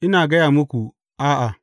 Ina gaya muku, a’a!